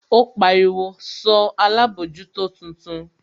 Ó pariwo, sọ alábòójútó tuntun?